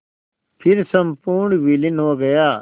फिर संपूर्ण विलीन हो गया